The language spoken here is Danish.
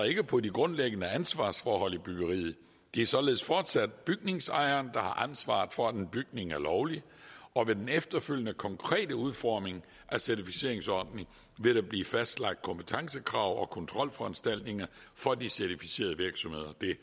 ikke på de grundlæggende ansvarsforhold i byggeriet det er således fortsat bygningsejeren der har ansvaret for at en bygning er lovlig og ved den efterfølgende konkrete udformning af certificeringsordningen vil der blive fastlagt kompetencekrav og kontrolforanstaltninger for de certificerede virksomheder det